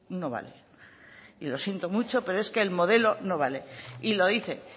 no vale y lo siento mucho pero es que el modelo no vale y lo dicen